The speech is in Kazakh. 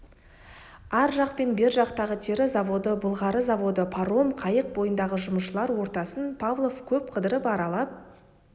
ар жақ пен бер жақтағы тері заводы былғары заводы паром қайық бойындағы жұмысшылар ортасын павлов көп қыдырып аралап